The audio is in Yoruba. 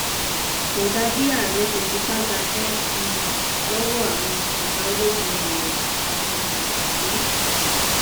kò dáa bí ààrẹ ṣe fipá gbaṣẹ um lọwọ àwọn ọgá ológun ilé um yìí